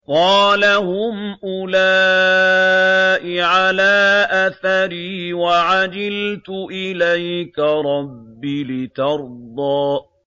قَالَ هُمْ أُولَاءِ عَلَىٰ أَثَرِي وَعَجِلْتُ إِلَيْكَ رَبِّ لِتَرْضَىٰ